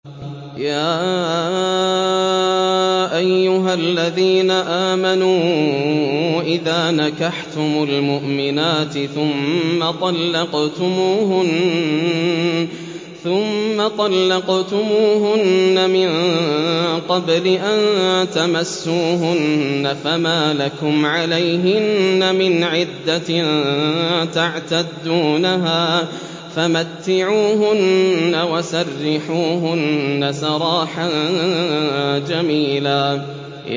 يَا أَيُّهَا الَّذِينَ آمَنُوا إِذَا نَكَحْتُمُ الْمُؤْمِنَاتِ ثُمَّ طَلَّقْتُمُوهُنَّ مِن قَبْلِ أَن تَمَسُّوهُنَّ فَمَا لَكُمْ عَلَيْهِنَّ مِنْ عِدَّةٍ تَعْتَدُّونَهَا ۖ فَمَتِّعُوهُنَّ وَسَرِّحُوهُنَّ سَرَاحًا جَمِيلًا